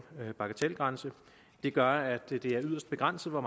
bagatelgrænse gør at det er yderst begrænset hvor